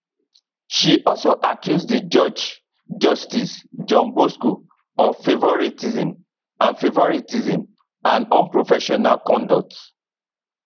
she also accuse di judge justice john bosco of favouritism and favouritism and unprofessional conduct